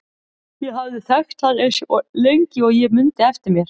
Ég hafði þekkt hann eins lengi og ég mundi eftir mér.